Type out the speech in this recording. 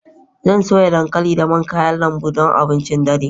Zan soya dankali da man kayan lambu don abincin dare.